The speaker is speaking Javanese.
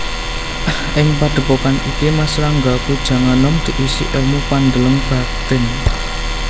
Ing padhèpokan iki Mas Ranggapujanganom diisi èlmu pandeleng batin